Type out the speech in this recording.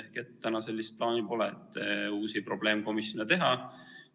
Nii et täna sellist plaani uusi probleemkomisjone teha ei ole.